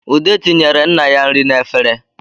Ude tinyere nna ya nri n'efere